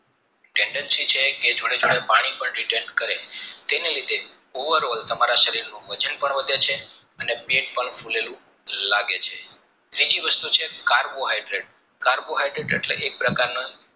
candancy છે કે જોડે જોડે પાણી પણ return કરે તેની રીતે over all તમારા શરીરનું વજન પણ વધે છે અને પેટ પણ ફુલેલું લાગે છે બીજી વસ્તુ છે carbohydrates carbohydrates એટલેકે